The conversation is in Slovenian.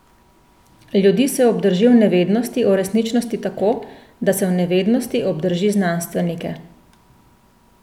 Ljudi se obdrži v nevednosti o resničnosti tako, da se v nevednosti obdrži znanstvenike.